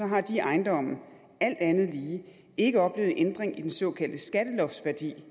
har de ejendomme alt andet lige ikke oplevet en ændring i den såkaldte skatteloftsværdi